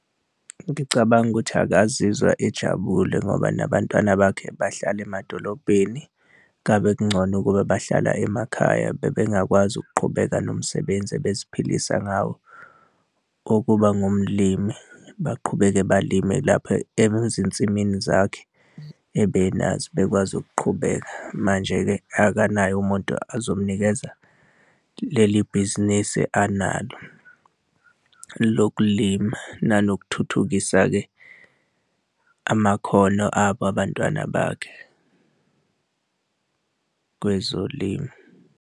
Ngicabanga ukuthi akazizwa ejabule ngoba nabantwana bakhe bahlala emadolobheni, ngabe kungcono ukuba bahlala emakhaya bebengakwazi ukuqhubeka nomsebenzi abeziphilisa ngawo okuba ngumlimi, baqhubeke balime lapho ezinsimini zakhe ebenazo, bekwazi ukuqhubeka. Manje-ke akanayo umuntu ozomnikeza leli bhizinisi analo lokulima. Nanokuthuthukisa-ke amakhono abo abantwana bakhe kwezolimo.